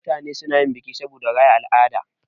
Mutane suna yin biki saboda raya al'ada.